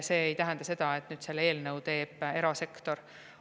See ei tähenda seda, et selle eelnõu teeb erasektor.